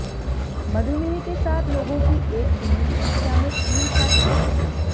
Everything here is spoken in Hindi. मधुमेह के साथ लोगों की एक सीमित संख्या में क्रीम खा सकते हैं